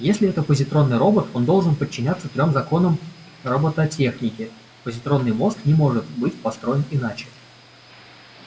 если это позитронный робот он должен подчиняться трём законам роботехники позитронный мозг не может быть построен иначе